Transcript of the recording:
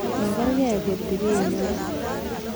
Magerge kot ibenywan.